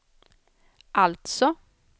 alltså